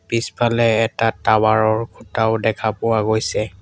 পিছফালে এটা টাৱাৰ ৰ খুঁটাও দেখা পোৱা গৈছে।